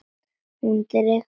Hún dregur Júlíu af stað.